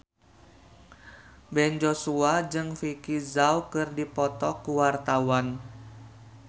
Ben Joshua jeung Vicki Zao keur dipoto ku wartawan